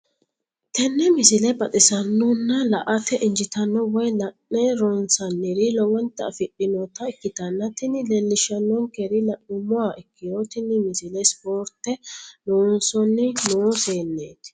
tenne misile baxisannonna la"ate injiitanno woy la'ne ronsannire lowote afidhinota ikkitanna tini leellishshannonkeri la'nummoha ikkiro tini misile ispoorte loosanni noo seenneeti.